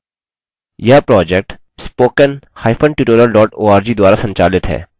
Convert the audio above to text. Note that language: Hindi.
यह project